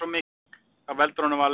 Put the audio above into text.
Það veldur honum vanlíðan.